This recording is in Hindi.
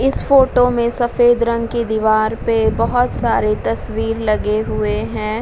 इस फोटो में सफ़ेद रंग की दीवार पे बोहोत सारे तस्वीर लगे हुए हैं।